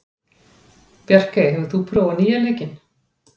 Bjarkey, hefur þú prófað nýja leikinn?